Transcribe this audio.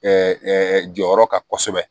jɔyɔrɔ kan kosɛbɛ